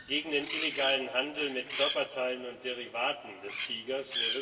gegen den illegalen Handel mit Körperteilen und Derivaten des Tigers.